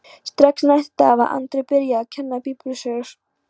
Strax næsta dag var Andri byrjaður að kenna biblíusögur.